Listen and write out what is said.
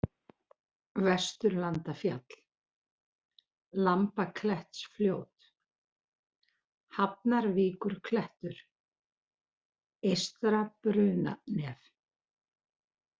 Vesturlandafjall, Lambaklettsfljót, Hafnarvíkurklettur, Eystra-Brunanef